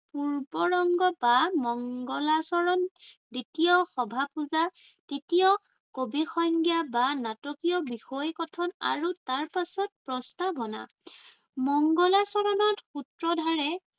পূৰ্বৰংগ বা মংগলাচৰণ, দ্বিতীয় সভাপূজা, তৃতীয় কবি সংজ্ঞা বা নাটকীয় বিষয় কথন আৰু তাৰ পাছত প্ৰস্তাৱনা। মংগলাচৰণত সূত্ৰধাৰে